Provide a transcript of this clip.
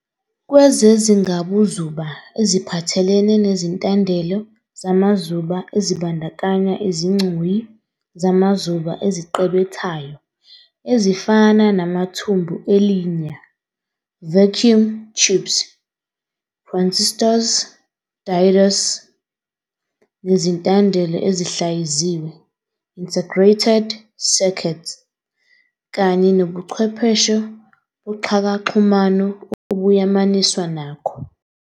Kwezezingabuzuba eziphathelene nezintandelo zamazuba ezibandakanya izigcoyi zamazuba eziqebethayo ezifana namathumbu elinya, vacuum tubes, "transistors, diodes," nezintandelo ezihlayiziwe, integrated circuits, kanye nobuchwepheshe boxhakaxhumano obuyamaniswa nakho.